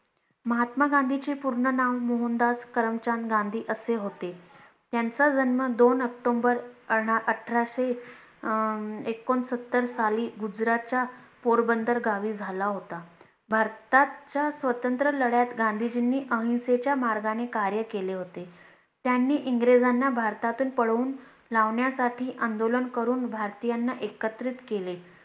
भारताच्या स्वतंत्र लढत गांधीजींनी अहिंसेच्या मार्गाने कार्य केले होते त्यांनी इंग्रजांना भारतातून पळून लावण्यासाठी आंदोलन करून भारतीयांना एकत्रित केले